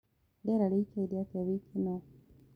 rĩera riraikare atĩa wikiĩnõ